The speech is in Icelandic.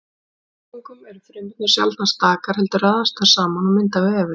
Í fjölfrumungum eru frumurnar sjaldnast stakar heldur raðast þær saman og mynda vefi.